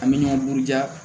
An bɛ ɲɔgɔn buruja